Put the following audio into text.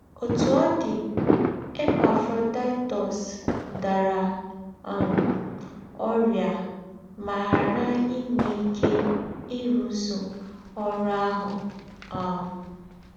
Òtú ọ̀ dì, Epafrodaịtọs dàrá um órị́à mà ghàrá ìnwé íké ìrụ́zù órú àhù. um